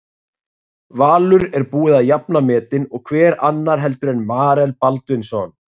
Valur er búið að jafna metin og hver annar heldur en Marel Baldvinsson?